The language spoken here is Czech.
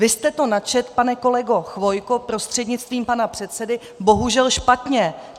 Vy jste to načetl, pane kolego Chvojko prostřednictvím pana předsedy, bohužel špatně.